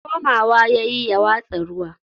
komawa yayi ya watsa ruwa